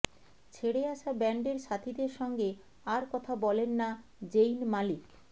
ছেড়ে আসা ব্যান্ডের সাথীদের সঙ্গে আর কথা বলেন না যেইন মালিক